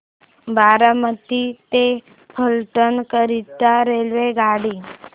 बारामती ते फलटण करीता रेल्वेगाडी